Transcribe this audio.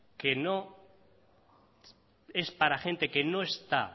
que es para gente que no está